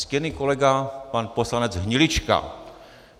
Ctěný kolega pan poslanec Hnilička.